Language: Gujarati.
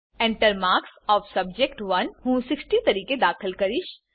Enter માર્ક્સ ઓએફ સબ્જેક્ટ1 હું 60 તરીકે દાખલ કરીશ